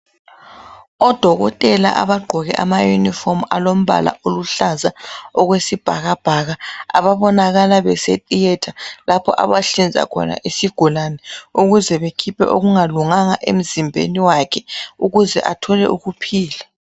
Odokothela abagqoke ama uniform alombala oluhlaza okwesibhakabhaka. Ababonakala bese theatre ,lapho abahlinza khona isigulane ukuze bekhiphe okungalunganga emzimbeni wakhe. Ukuze athole ukuphila.